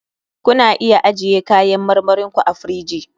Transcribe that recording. Ku na iya ajiye kayan marmarin ku a firiji.